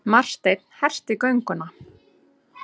Marteinn herti gönguna.